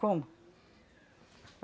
Como?